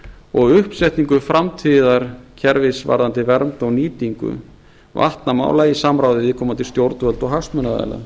og uppsetningu framtíðarkerfis varðandi vernd og nýtingu vatnamála í samráði við viðkomandi stjórnvöld og hagsmunaaðila